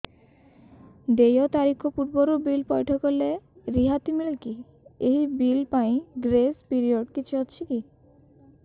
ଦେୟ ତାରିଖ ପୂର୍ବରୁ ବିଲ୍ ପୈଠ କଲେ ରିହାତି ମିଲେକି ଏହି ବିଲ୍ ପାଇଁ ଗ୍ରେସ୍ ପିରିୟଡ଼ କିଛି ଅଛିକି